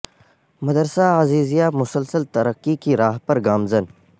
مدرسہ عزیزیہ مسلسل ترقی کی راہ پر گا مزن